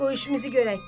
Qoy işimizi görək.